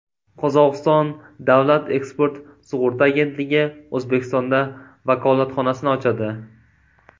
Qozog‘iston davlat eksport sug‘urta agentligi O‘zbekistonda vakolatxonasini ochadi.